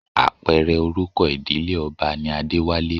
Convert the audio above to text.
Apẹ̀rẹ̀ orúkọ ìdílé ọba ni Adéwálé